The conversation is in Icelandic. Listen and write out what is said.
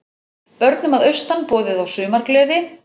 Börnum að austan boðið á sumargleði